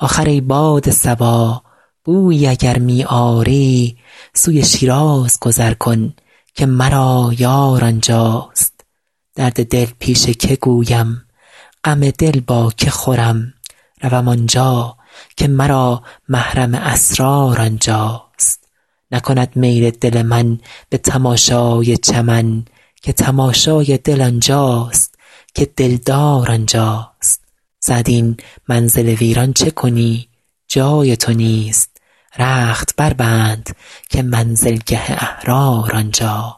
آخر ای باد صبا بویی اگر می آری سوی شیراز گذر کن که مرا یار آنجاست درد دل پیش که گویم غم دل با که خورم روم آنجا که مرا محرم اسرار آنجاست نکند میل دل من به تماشای چمن که تماشای دل آنجاست که دلدار آنجاست سعدی این منزل ویران چه کنی جای تو نیست رخت بربند که منزلگه احرار آنجاست